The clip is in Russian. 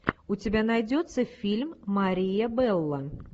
у тебя найдется фильм мария белло